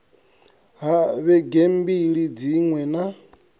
ha vhege mbili dziṅwe na